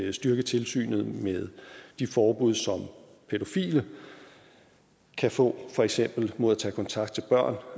at styrke tilsynet med de forbud som pædofile kan få for eksempel mod at tage kontakt til børn